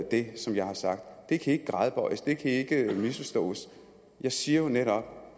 det som jeg har sagt det kan ikke gradbøjes det kan ikke misforstås jeg siger jo netop